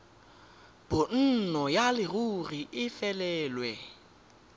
bonno ya leruri e felelwe